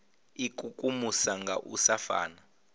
ikukumusa nga u sa fana